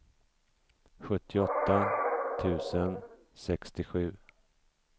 sjuttioåtta tusen sextiosju